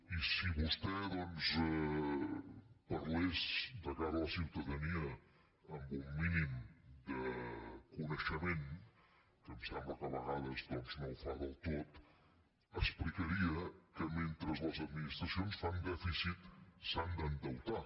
i si vostè doncs parlés de cara a la ciutadania amb un mínim de coneixement que em sembla que a vegades doncs no ho fa del tot ex·plicaria que mentre les administracions fan dèficit s’han d’endeutar